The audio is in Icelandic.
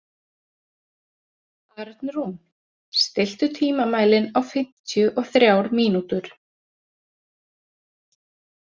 Arnrún, stilltu tímamælinn á fimmtíu og þrjár mínútur.